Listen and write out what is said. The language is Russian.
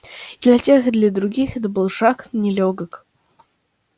и для тех и для других этот был шаг нелёгок